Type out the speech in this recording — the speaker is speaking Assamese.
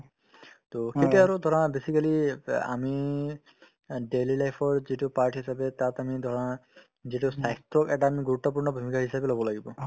to সেইটোয়ে আৰু ধৰা basically ব আমি অ daily life ত যিটো part হিচাপে তাত আমি ধৰা যিটো ক এটা আমি গুৰুত্বপূৰ্ণ ভূমিকা হিচাপে ল'ব লাগিব